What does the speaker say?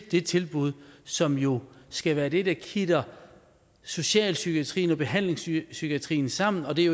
det tilbud som jo skal være det der kitter socialpsykiatrien og behandlingspsykiatrien sammen og det